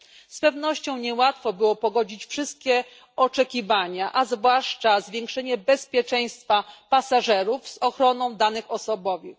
Z pewnością niełatwo było pogodzić wszystkie oczekiwania, a zwłaszcza zwiększenie bezpieczeństwa pasażerów z ochroną danych osobowych.